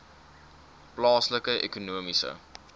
plaaslike ekonomiese